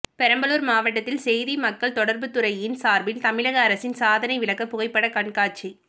பெரம்பலூர் மாவட்டத்தில் செய்தி மக்கள் தொடர்புத்துறையின் சார்பில் தமிழக அரசின் சாதனை விளக்க புகைப்படக் கண்காட்சி